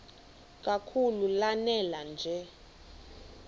kakhulu lanela nje